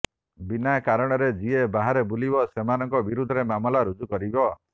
ବିନା କାରଣରେ ଯିଏ ବାହାରେ ବୁଲିବ ସେମାନଙ୍କ ବିରୋଧରେ ମାମଲା ରୁଜୁ କରିବ